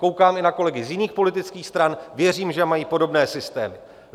Koukám i na kolegy z jiných politických stran, věřím, že mají podobné systémy.